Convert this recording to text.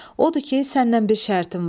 Odur ki, səndən bir şərtim var.